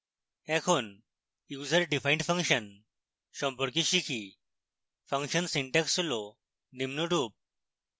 এখন user defined function সম্পর্কে শিখি ফাংশন সিনট্যাক্স হল নিম্নরূপ